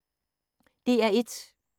DR1